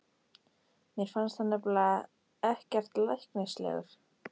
Mér fannst hann nefnilega ekkert læknislegur.